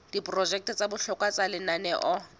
diprojeke tsa bohlokwa tsa lenaneo